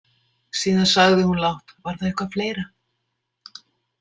Síðan sagði hún lágt: Var það eitthvað fleira?